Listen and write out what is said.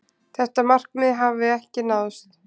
Þetta markmið hafi ekki náðst.